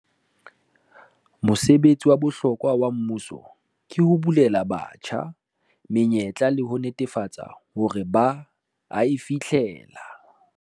Mosebetsi wa bohlokwa wa mmuso ke ho bulela batjha menyetla le ho netefatsa hore ba a e fihlella.